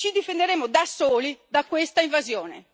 Ci difenderemo da soli da questa invasione.